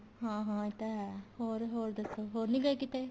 ਹਾਂ ਹਾਂ ਇਹ ਤਾਂ ਹੈ ਹੋਰ ਹੋਰ ਦੱਸੋ ਹੋਰ ਨੀਂ ਗਏ ਕਿਤੇ